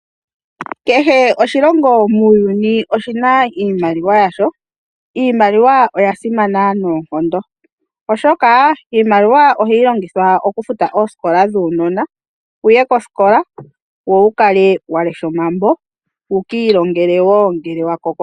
Kehe oshilongo muuyuni oshi na iimaliwa yasho. Iimaliwa oya simana noonkondo, oshoka iimaliwa ohayi longithwa okufuta oosikola dhuunona wuye kosikola wo wu kale wa lesha omambo wu ka ilongele wo ngele wa koko.